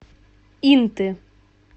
инты